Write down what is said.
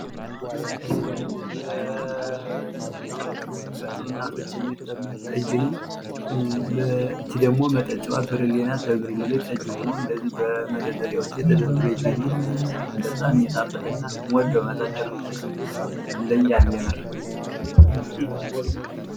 ይህ ደግሞ በታዋቂ ወይም ጥሩ እናቶች የሚጠመቅ ጠጅ ነው። መጠጫዋ ብርሌ ናት ።በብርሌ ተደርድረው ይታያሉ። በጣም ሚጣፍጥን ምወደው መጠጥ ነው ።ይለያል የምር።